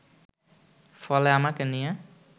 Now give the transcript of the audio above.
ফলে আমাকে নিয়ে